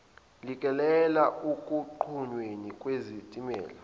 lekelele ekunqunyweni kwezintela